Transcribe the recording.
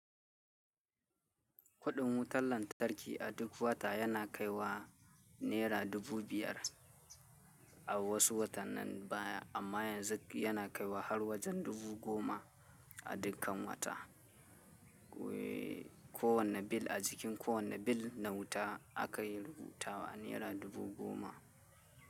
Kuɗin wutar lantarki a duk wata yana kai wa naira dubu biyar a wasu watannin baya amma yanzu yana kai wa har wajen dubu goma a dukkan wata. Ko wane bil a jikin ko wane bil na wuta aka yi rubuta wa naira dubu goma.